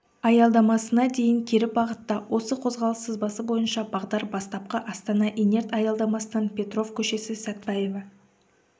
аялдамасына дейін кері бағытта осы қозғалыс сызбасы бойынша бағдар бастапқы астанаинерт аялдамасынан петров көшесі сатпаева